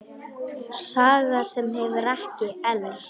Saga sem hefur ekki elst.